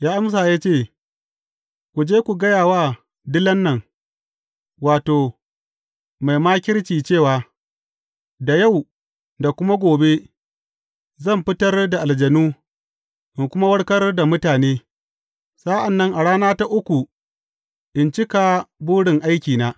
Ya amsa ya ce, Ku je ku gaya wa dilan nan, wato, mai makirci cewa, Da yau da kuma gobe, zan fitar da aljanu, in kuma warkar da mutane, sa’an nan a rana ta uku in cika burin aikina.